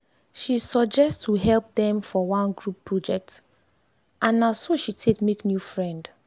she suggest to help dem for one group project and na so she take make new friend.